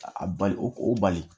A bali o bali